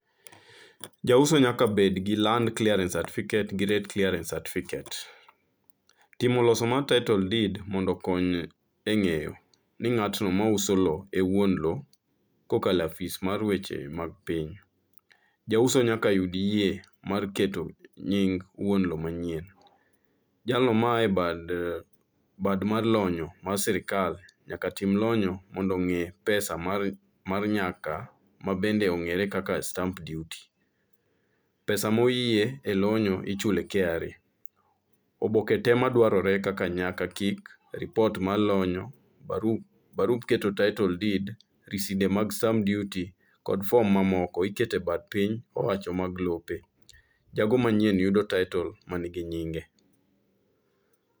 Jauso nyaka bed gi land clearance certificate gi rate clearance certificate. Timo loso mar title deed mondo kony e ng'eyo ni ng'atno ma uso lo e wuon lo, kokalo afis mar weche mag piny. Jauso nyaka yud yie mar keto nying wuon lo manyien. Jalno ma a e bad, bad mar lonyo mar sirikal nyaka tim lonyo mondo ong'e pesa mar nyaka ma bende ong'ere kaka stamp duty. Pesa moyie e lonyo ichule KRA. Oboke te madwarore nyaka kik, ripot mar lonyo, barup barup keto title deed, riside mag stamp duty kod fom mamoko iketo e bath piny owacho mag lope. Jago manyien yudo taitol ma nigi nyinge.